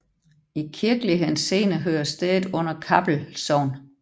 I kirkelig henseende hører stedet under Kappel Sogn